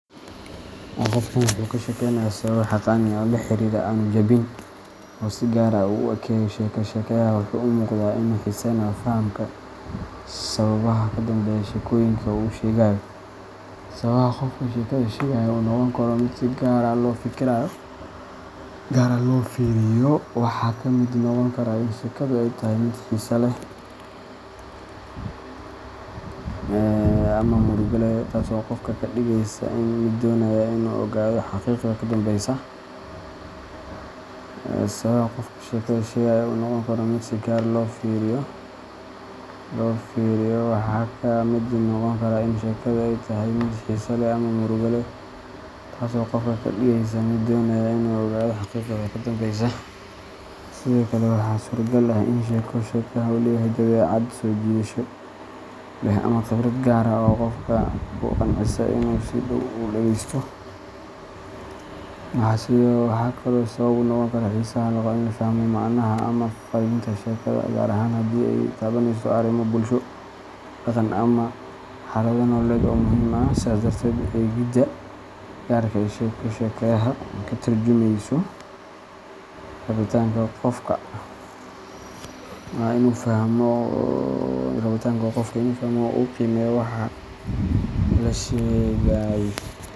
Qofkan kashekeynaya sababo xaqani ah oo lahirara aanu jabin, oo si gaar ah u eegaya sheeko sheegaha waxa uu u muuqdaa inuu xiiseynayo fahamka sababaha ka dambeeya sheekooyinka uu sheegayo. Sababaha qofka sheekada sheegaya u noqon karo mid si gaar ah loo fiiriyo waxaa ka mid noqon kara in sheekadu ay tahay mid xiiso leh ama murugo leh, taas oo qofka ka dhigaysa mid doonaya inuu ogaado xaqiiqada ka dambeysa. Sidoo kale, waxaa suuragal ah in sheeko sheegaha uu leeyahay dabeecad soo jiidasho leh ama khibrad gaar ah oo qofka ku qancisa inuu si dhow u dhegeysto. Waxaa kaloo sabab u noqon kara xiisaha loo qabo in la fahmo macnaha ama fariinta sheekada, gaar ahaan haddii ay taabaneyso arrimo bulsho, dhaqan, ama xaalado nololeed oo muhiim ah. Sidaas darteed, eegidda gaarka ah ee sheeko sheegaha waxay ka turjumaysaa rabitaanka qofka ee ah inuu fahmo oo uu qiimeeyo waxa la sheegay.